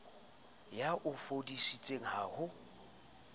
ya o foseditseng ha ho